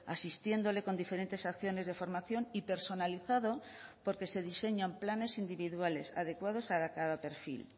asistiéndole con diferentes acciones de formación y personalizado porque se diseñan planes individuales adecuados a cada perfil